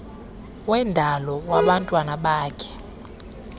wendalo wabantwana bakhe